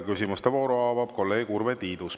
Küsimuste vooru avab kolleeg Urve Tiidus.